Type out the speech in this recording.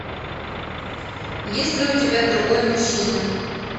есть ли у тебя другой мужчина